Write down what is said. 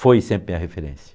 Foi sempre minha referência.